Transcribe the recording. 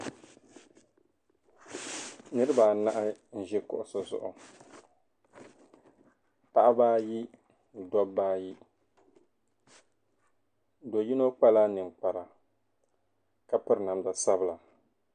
Niriba anahi n-ʒi kuɣisi zuɣu paɣiba ayi no dɔbba ayi. Do' yino kpala ninkpara ka piri namda sabila.